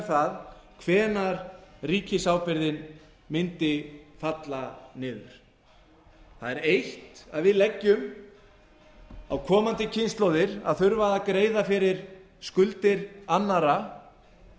það hvenær ríkisábyrgðin mundi falla niður það er eitt að við leggjum á komandi kynslóðir að þurfa að greiða fyrir skuldir annarra